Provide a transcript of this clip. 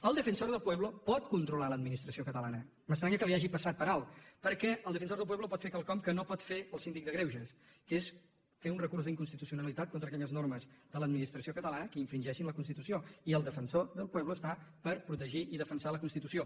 el defensor del pueblo pot controlar l’administració catalana m’estranya que li hagi passat per alt perquè el defensor del pueblo pot fer quelcom que no pot fer el síndic de greuges que és fer un recurs d’inconstitucionalitat contra aquelles normes de l’administració catalana que infringeixin la constitució i el defensor del pueblo està per protegir i defensar la constitució